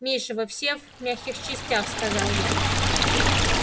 миша вы все в мягких частях сказал я